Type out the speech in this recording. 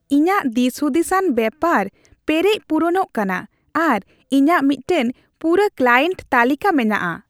ᱤᱧᱟᱹᱜ ᱫᱤᱥᱦᱩᱫᱤᱥᱟᱱ ᱵᱮᱯᱟᱨ ᱯᱮᱨᱮᱡ ᱯᱩᱨᱩᱱᱚᱜ ᱠᱟᱱᱟ ᱟᱨ ᱤᱧᱟᱹᱜ ᱢᱤᱫᱴᱟᱝ ᱯᱩᱨᱟᱹ ᱠᱞᱟᱭᱮᱱᱴ ᱛᱟᱹᱞᱤᱠᱟ ᱢᱮᱱᱟᱜᱼᱟ ᱾